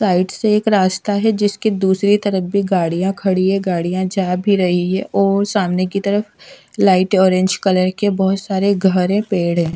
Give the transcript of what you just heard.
Side से एक रास्ता है जिसके दूसरी तरफ भी गाड़िया खड़ी है गाड़िया जा भी रही है और सामने की तरफ लाइट ऑरेंज कलर के बहोत सारे घर है पेड़ है।